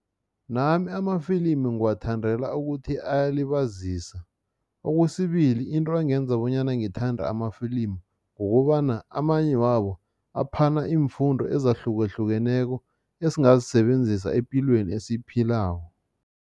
Nami amafilimu ngiwathandela ukuthi ayalibazisa. Okwesibili, into engenza bonyana ngithande amafilimu kukobana amanye wabo aphana iimfundo ezahlukahlukeneko, esingazisebenzisa epilweni esiyiphilako.